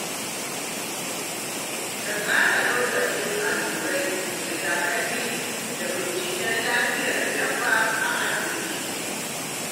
Ka tsara lokacin allurar rigakafi da binciken lafiyar dabba a asibiti.